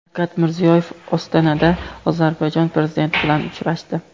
Shavkat Mirziyoyev Ostonada Ozarbayjon prezidenti bilan uchrashdi.